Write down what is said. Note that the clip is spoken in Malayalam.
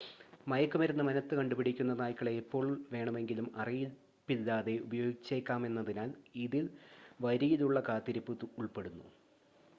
മയക്കുമരുന്ന് മണത്തുകണ്ടുപിടിക്കുന്ന നായ്ക്കളെ എപ്പോൾ വേണമെങ്കിലും അറിയിപ്പില്ലാതെ ഉപയോഗിച്ചേക്കാമെന്നതിനാൽ ഇതിൽ വരിയിലുള്ള കാത്തിരിപ്പ് ഉൾപ്പെടുന്നു